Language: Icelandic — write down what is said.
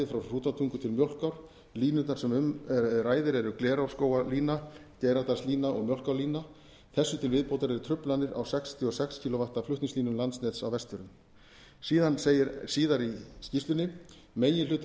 frá hrútatungu til mjólkár línurnar sem um ræðir eru glerárskógalína eins geiradalslína eins og mjólkárlína eins þessu til viðbótar eru truflanir á sextíu og sex kv flutningslínum landsnets á vestfjörðum síðan segir síðar í skýrslunni meginhluti